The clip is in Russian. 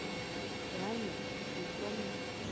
реально бессимптомно